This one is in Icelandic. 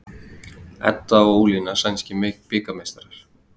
Edda og Ólína sænskir bikarmeistarar